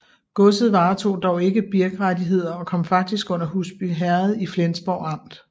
Godset varetog dog ikke birkrettigheder og kom faktisk under Husbyherred i Flensborg Amt